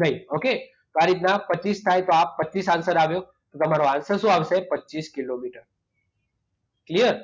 નહીં. ઓકે? તો આ રીતના પચીસ થાય તો આ પચીસ આન્સર આવ્યો. તો તમારો આન્સર શું આવશે? પચીસ કિલોમીટર. ક્લીયર?